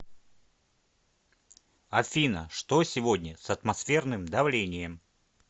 афина что сегодня с атмосферным давлением